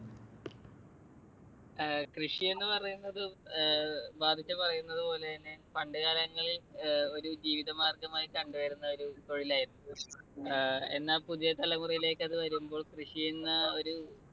കൃഷി എന്ന് പറയുന്നത് പറയുന്നതുപോലെതന്നെ പണ്ടുകാലങ്ങളിൽ ഒരു ജീവിതമാർഗ്ഗമായി കണ്ടുവരുന്ന ഒരു തൊഴിലായിരുന്നു. എന്നാൽ പുതിയ തലമുറയിലേക്ക് അത് വരുമ്പോൾ കൃഷിയെന്ന ഒരു